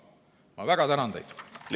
Ma väga tänan teid!